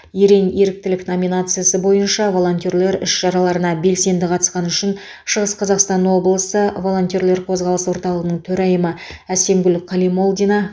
ерен еріктілік номинациясы бойынша волонтерлер іс шараларына белсенді қатысқаны үшін шығыс қазақстан облысы волонтерлер қозғалысы орталығының төрайымы әсемгүл калимолдина